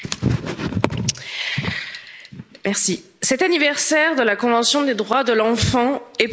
Madame la Présidente, cet anniversaire de la Convention des droits de l'enfant est pour nous l'occasion de faire un état des lieux.